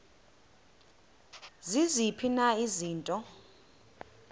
ziziphi na izinto